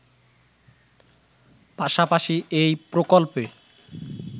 পাশাপাশি এই প্রকল্পে